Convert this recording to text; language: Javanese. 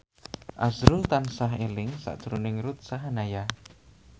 azrul tansah eling sakjroning Ruth Sahanaya